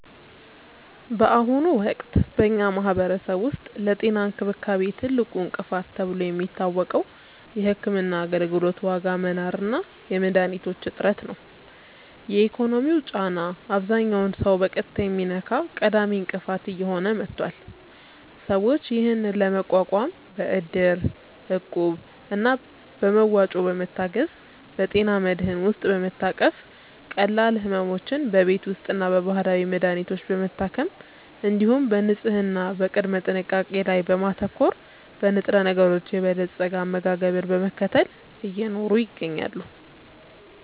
በአሁኑ ወቅት በኛ ማህበረሰብ ውስጥ ለጤና እንክብካቤ ትልቁ እንቅፋት ተብሎ የሚታወቀው የሕክምና አገልግሎት ዋጋ መናር እና የመድኃኒቶች እጥረት ነው። የኢኮኖሚው ጫና አብዛኛውን ሰው በቀጥታ የሚነካ ቀዳሚ እንቅፋት እየሆነ መጥቷል። ሰዎች ይህንን ለመቋቋም በእድር፣ እቁብ እና በመዋጮ በመታገዝ፣ በጤና መድህን ውስጥ በመታቀፍ፣ ቀላል ሕመሞችን በቤት ውስጥና በባህላዊ መድሀኒቶች በመታከም፣ እንዲሁም በንጽህና እና በቅድመ ጥንቃቄ ላይ በማተኮር፣ በንጥረነገሮች የበለፀገ አመጋገብን በመከተል እየኖሩ ይገኛሉ።